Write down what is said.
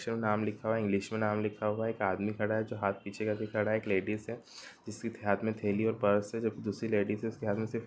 -- नाम लिख हुआ है इंग्लिस में नाम लिखा हुवा है एक आदमी खड़ा खड़ा है जो हाथ पीछे करके खड़ा है एक लेडिस है जिस की सी हाथ में थेली और पर्स हैं जो की दूसरी लेडिस है उसके हाथ में सिर्फ --